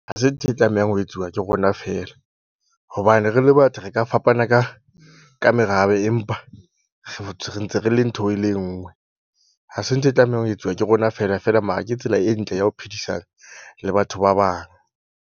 Ha se ntho e tlamehang ho etsuwa ke rona feela hobane re le batho, re ka fapana ka ka merabe empa re ntse re le ntho e le nngwe. Hase ntho e tlamehang ho etsuwa ke rona feela feela mara ke tsela e ntle ya ho phedisana le batho ba bang.